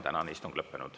Tänane istung on lõppenud.